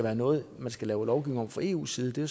er noget man skal lave lovgivning om fra eus side det